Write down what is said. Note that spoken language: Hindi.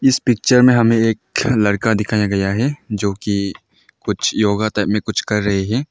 इस पिक्चर में हमें एक लड़का दिखाया गया है जो की कुछ योगा टाइप में कुछ कर रहे है।